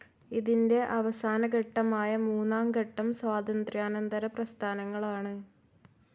ഇതിന്റെ അവസാന ഘട്ടമായ മൂന്നാം ഘട്ടം സ്വാതന്ത്ര്യാനന്തര പ്രസ്ഥാനങ്ങളാണ്.